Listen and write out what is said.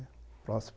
Próximo